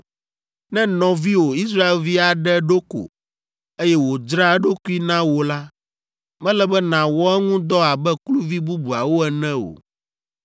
“ ‘Ne nɔviwò Israelvi aɖe ɖo ko, eye wòdzra eɖokui na wò la, mele be nàwɔ eŋu dɔ abe kluvi bubuawo ene o,